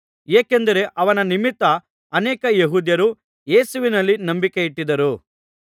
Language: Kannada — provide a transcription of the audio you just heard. ಏಕೆಂದರೆ ಅವನ ನಿಮಿತ್ತ ಅನೇಕ ಯೆಹೂದ್ಯರು ಯೇಸುವಿನಲ್ಲಿ ನಂಬಿಕೆಯಿಟ್ಟಿದ್ದರು